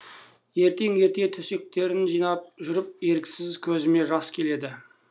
ертең ерте төсектерін жинап жүріп еріксіз көзіме жас келеді